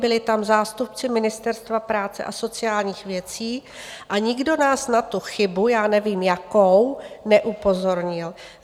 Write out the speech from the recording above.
Byli tam zástupci Ministerstva práce a sociálních věcí a nikdo nás na tu chybu, já nevím jakou, neupozornil.